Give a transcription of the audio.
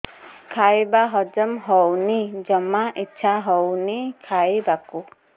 ଖାଇବା ହଜମ ହଉନି ଜମା ଇଛା ହଉନି ଖାଇବାକୁ